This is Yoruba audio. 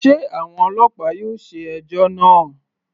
Sé àwọn ọlọ́pàá yóò ṣe ẹjọ́ náà.